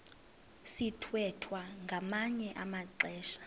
sithwethwa ngamanye amaxesha